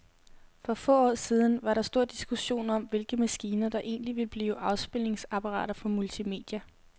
For få år siden var der stor diskussion om, hvilke maskiner, der egentlig ville blive afspilningsapparater for multimedia.